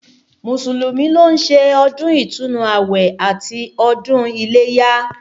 Mùsùlùmí ló ń ṣe ọdún ìtúnu àwẹ̀ àti ọdún iléyá